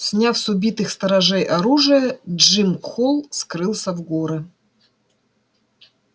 сняв с убитых сторожей оружие джим холл скрылся в горы